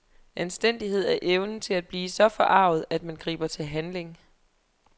Anstændighed er evnen til at blive så forarget, at man griber til handling.